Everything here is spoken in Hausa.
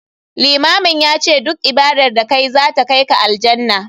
Limamin yace duk ibadar da kayi to zata kaika Aljannah.